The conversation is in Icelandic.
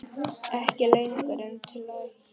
Ekki lengur en til eitt.